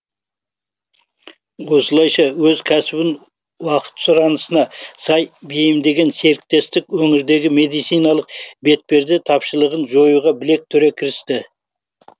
осылайша өз кәсібін уақыт сұранысына сай бейімдеген серіктестік өңірдегі медициналық бетперде тапшылығын жоюға білек түре кірісті